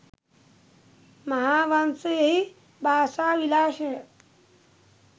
මහාවංශයෙහි භාෂා විලාශය